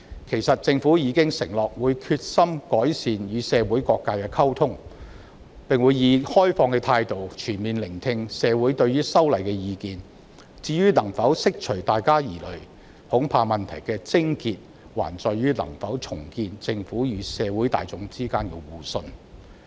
其實，政府已承諾會決心改善與社會各界的溝通，並會以開放的態度，全面聆聽社會對於修例的意見；至於能否釋除大家的疑慮，恐怕問題的癥結還在於能否重建政府與社會大眾之間的互信。